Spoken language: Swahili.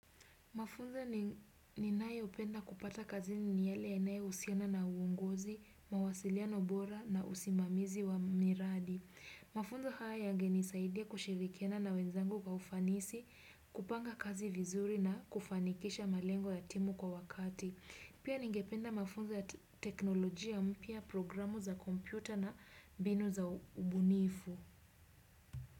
Mafunzo ni ninayo penda kupata kazini ni yale yanayo husiana na uongozi, mawasiliano bora na usimamizi wa miradi. Mafunzo haya yange nisaidia kushirikiana na wenzangu kwa ufanisi, kupanga kazi vizuri na kufanikisha malengo ya timu kwa wakati. Pia ningependa mafunzo ya teknolojia mpia programu za kompyuta na binu za ubunifu.